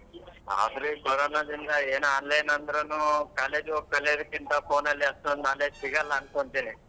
ಆದ್ರೂ ಈ ಕೊರೊನದಿಂದ ಏನ್ online ಅಂದ್ರುನೂ college ಗ್ ಹೋಗ್ ಕಳಿಯೋದ್ಕಿಂತ phone ನಲ್ಲಿ ಅಷ್ಟೊಂದ್ knowledge ಸಿಗಲ್ಲ ಅನ್ಕೊಂತಿನಿ.